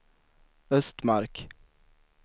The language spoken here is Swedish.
Östmark